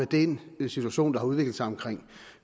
den situation som har udviklet sig omkring